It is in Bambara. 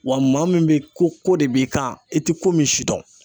Wa maa min bɛ ko ko de b'i kan i tɛ ko min si dɔn.